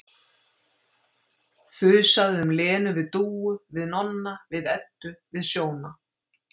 Þusaði um Lenu við Dúu, við Nonna, við Eddu, við Sjóna